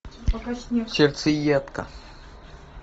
сердцеедка